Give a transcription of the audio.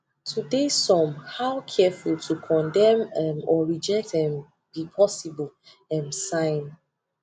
to de some how careful to condem um or reject um be possible um sign